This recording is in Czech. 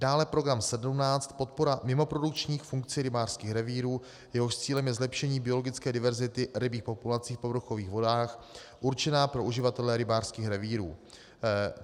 dále program 17 Podpora mimoprodukčních funkcí rybářských revírů, jehož cílem je zlepšení biologické diverzity rybích populací v povrchových vodách určená pro uživatele rybářských revírů.